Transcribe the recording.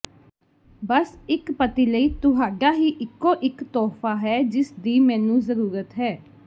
ਬਸ ਇਕ ਪਤੀ ਲਈ ਤੁਹਾਡਾ ਹੀ ਇਕੋ ਇਕ ਤੋਹਫ਼ਾ ਹੈ ਜਿਸ ਦੀ ਮੈਨੂੰ ਜ਼ਰੂਰਤ ਹੈ